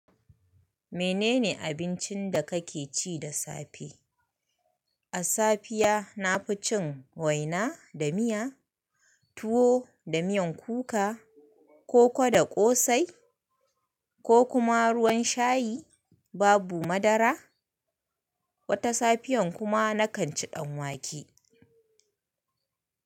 Menene abincin da ka ke ci da safe? A safiya na fi cin waina da miya, tuwo da miyan kuka, koko da ƙosai ko kuma ruwan shayi, babu madara. Wata safiyan kuma na kan ci ɗanwake.